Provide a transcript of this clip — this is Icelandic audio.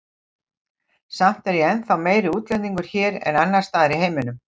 Samt er ég ennþá meiri útlendingur hér en annars staðar í heiminum.